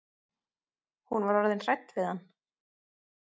Hún var orðin hrædd við hann.